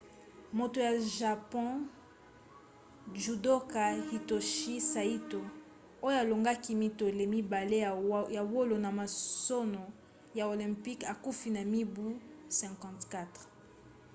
moto ya japon judoka hitoshi saito oyo alongaki mitole mibale ya wolo na masano ya olympique akufi na mibu 54